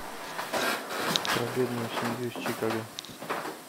про бедную семью из чикаго